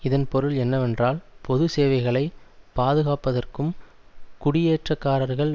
இதன் பொருள் என்னவென்றால் பொது சேவைகளை பாதுகாப்பதற்கும் குடியேற்றக்காரர்கள்